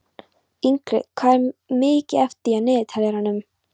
Ingrid, hvað er mikið eftir af niðurteljaranum?